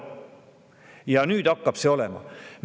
Ja nüüd hakkab see olema.